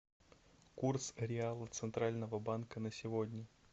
курс реала центрального банка на сегодня